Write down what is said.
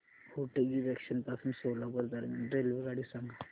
Hotgi junction पासून सोलापूर दरम्यान रेल्वेगाडी सांगा